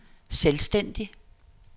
selvstændig